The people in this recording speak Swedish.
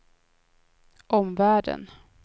omvärlden